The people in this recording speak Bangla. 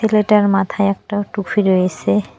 ছেলেটার মাথায় একটা টুপি রয়েসে।